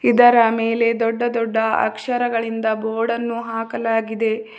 ಇದರ ಮೇಲೆ ದೊಡ್ಡ ದೊಡ್ಡ ಅಕ್ಷರಗಳಿಂದದ ಬೋರ್ಡನ್ನು ಹಾಕಲಾಗಿದೆ.